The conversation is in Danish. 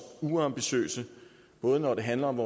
uambitiøse både når det handler om